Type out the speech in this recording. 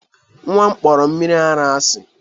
Nwa m kpọrọ mmiri ara asị